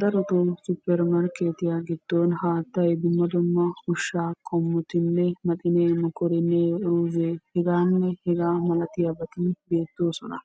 Darotto 'suppermarkettiya' gidoon haattay dumma dumma ushshaa qommottinne maxinne mokorinne uruzze hegganne hegaa malatiyabat(h.h.m) beettosona.